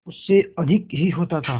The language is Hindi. उससे अधिक ही होता था